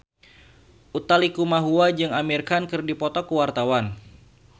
Utha Likumahua jeung Amir Khan keur dipoto ku wartawan